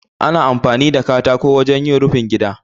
Ana amfani da katako wajen yin rufin gida.